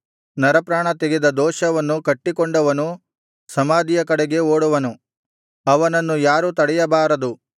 ನರಪ್ರಾಣ ತೆಗೆದ ದೋಷವನ್ನು ಕಟ್ಟಿಕೊಂಡವನು ಸಮಾಧಿಯ ಕಡೆಗೆ ಓಡುವನು ಅವನನ್ನು ಯಾರೂ ತಡೆಯಬಾರದು